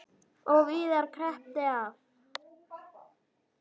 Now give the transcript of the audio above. Og víðar kreppti að.